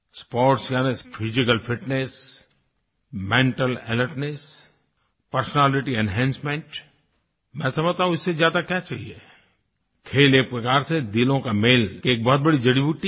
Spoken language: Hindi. स्पोर्ट्स यानि physical fitness mental alertness personality enhancement मैं समझता हूँ कि इससे ज्यादा क्या चाहिए खेल एक प्रकार से दिलों के मेल की एक बहुत बड़ी जड़ीबूटी है